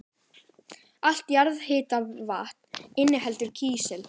Allt jarðhitavatn inniheldur kísil.